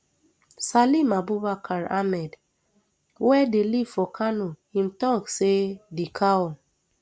salim abubakar ahmed wey dey live for kano im tok say di cow